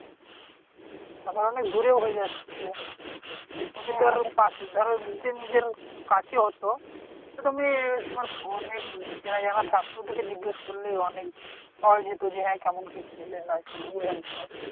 আবার অনেক দুরেও হয়ে যাচ্ছে। তুমি তো আরো পাশে ধর যদি নিজের কাছে হত। তা তুমি তোমার অনেক চেনা-জনা থাকতো তুমি জিজ্ঞেস করলেই অনেক পাওয়া যেত। যে, হ্যাঁ কেমন কি ছেলে না ছেলে বলে দিত।